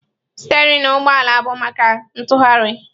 Stereịn ụgbọ ala bụ maka ntughari.